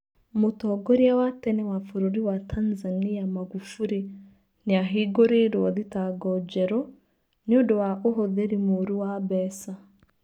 Mũtongoria wa tene wa bũrũri wa Tanzania Makuburi nĩ ahingũrĩirwo thitango njerũ, nũndũwa ũhũthĩri mũru wa mbeca.